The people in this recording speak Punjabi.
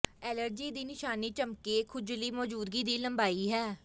ਐਲਰਜੀ ਦੀ ਨਿਸ਼ਾਨੀ ਝਮੱਕੇ ਖੁਜਲੀ ਮੌਜੂਦਗੀ ਦੀ ਲੰਬਾਈ ਹੈ